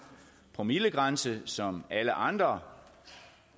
promillegrænse som alle andre